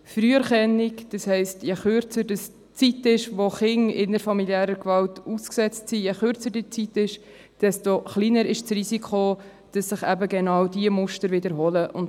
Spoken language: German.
Früherkennung, das heisst, je kürzer die Zeit ist, während der die Kinder innerfamiliärer Gewalt ausgesetzt sind, desto kleiner ist das Risiko, dass sich eben genau diese Muster wiederholen.